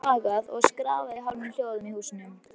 Það er þagað og skrafað í hálfum hljóðum í húsunum.